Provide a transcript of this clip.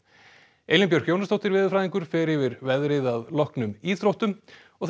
Elín Björk Jónasdóttir veðurfræðingur fer yfir veðrið að loknum íþróttum það